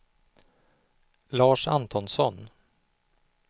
Lars Antonsson